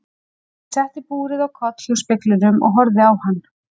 Ég setti búrið á koll hjá speglinum og horfði á hann.